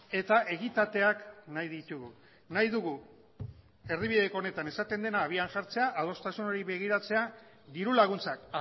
eta egitateak nahi ditugu nahi dugu erdibideko honetan esaten dena abian jartzea adostasun hori begiratzea diru laguntzak